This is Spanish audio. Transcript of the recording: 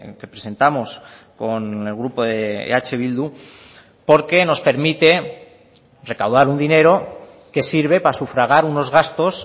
que presentamos con el grupo de eh bildu porque nos permite recaudar un dinero que sirve para sufragar unos gastos